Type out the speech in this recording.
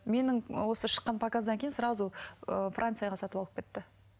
менің осы шыққан показдан кейін сразу ыыы францияға сатып алып кетті